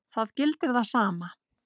Það gildir það sama.